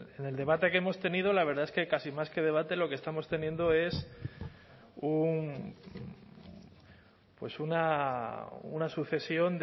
bueno pues en el debate que hemos tenido la verdad es que casi más que debate lo que estamos teniendo es un pues una sucesión